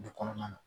Dugu kɔnɔna na